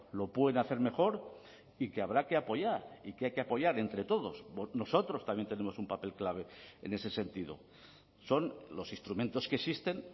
lo pueden hacer mejor y que habrá que apoyar y que hay que apoyar entre todos nosotros también tenemos un papel clave en ese sentido son los instrumentos que existen